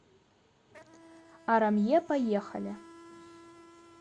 арамье поехали